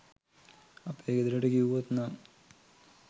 අපේ ගෙදරට කිව්වොත් නම්